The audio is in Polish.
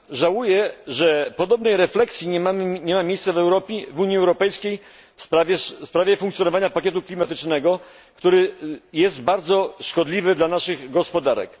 Żałuję, że podobna refleksja nie miała miejsca w Unii Europejskiej w sprawie funkcjonowania pakietu klimatycznego, który jest bardzo szkodliwy dla naszych gospodarek.